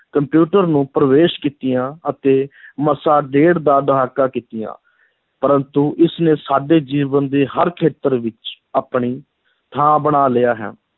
computer ਨੂੰ ਪ੍ਰਵੇਸ਼ ਕੀਤਿਆਂ ਅਤੇ ਮਸਾਂ ਡੇਢ ਦਾ ਦਹਾਕਾ ਕੀਤੀਆਂ, ਪਰੰਤੂ ਇਸ ਨੇ ਸਾਡੇ ਜੀਵਨ ਦੇ ਹਰ ਖੇਤਰ ਵਿੱਚ ਆਪਣੀ ਥਾਂ ਬਣਾ ਲਿਆ ਹੈ,